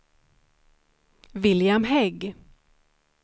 William Hägg